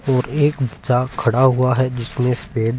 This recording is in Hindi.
और एक जहा खड़ा हुआ है जिसमे स्पेन --